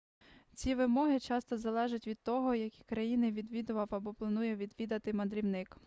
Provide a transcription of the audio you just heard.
ці вимоги часто залежать від того які країни відвідав або планує відвідати мандрівник